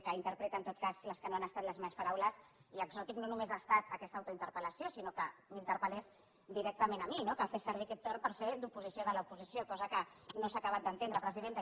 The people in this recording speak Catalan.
que interpreta en tot cas les que no han estat les meves paraules i exòtica no només ha estat aquesta autointerpel·lació sinó que m’interpellés directament a mi no que fes servir aquest torn per fer d’oposició de l’oposició cosa que no s’ha acabat d’entendre presidenta